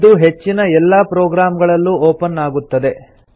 ಇದು ಹೆಚ್ಚಿನ ಎಲ್ಲಾ ಪ್ರೊಗ್ರಾಮ್ ಗಳಲ್ಲೂ ಒಪನ್ ಆಗುತ್ತದೆ